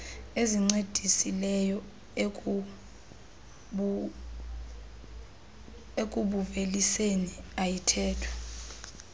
ezincedisileyo ekubuuveliseni ayithethwa